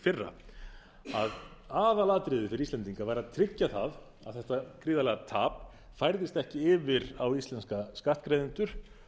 fyrra að aðalatriðið fyrir íslendinga væri að tryggja það að þetta gríðarlega tap færðist ekki yfir á íslenska skattgreiðendur